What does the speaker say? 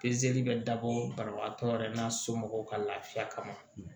Pezeli bɛ dabɔ banabagatɔ yɛrɛ n'a somɔgɔw ka lafiya kama